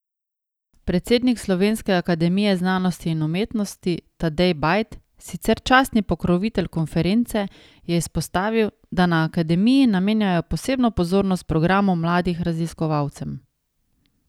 Predsednik Slovenske akademije znanosti in umetnosti Tadej Bajd, sicer častni pokrovitelj konference, je izpostavil, da na akademiji namenjajo posebno pozornost programu mladih raziskovalcem.